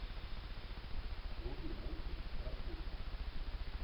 вруби мультик прослушка